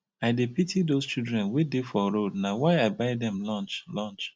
i dey pity those children wey dey for road na why i buy dem lunch lunch